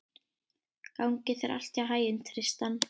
Gangi þér allt í haginn, Tristan.